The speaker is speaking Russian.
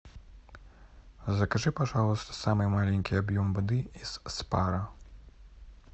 закажи пожалуйста самый маленький объем воды из спара